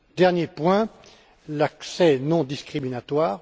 Dernier point l'accès non discriminatoire.